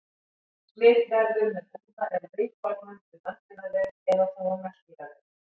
Smit verður með úða eða rykkornum um öndunarveg eða þá um meltingarveg.